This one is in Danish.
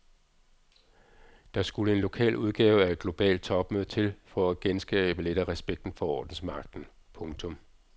Der skulle en lokal udgave af et globalt topmøde til for at genskabe lidt af respekten for ordensmagten. punktum